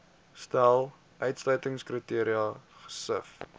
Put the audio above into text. stel uitsluitingskriteria gesif